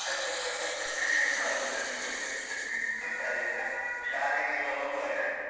, ಹೌದು . ಅದೇ ಶಾಲೆಗೆಲ್ಲ ಹೋಗುವಾಗ.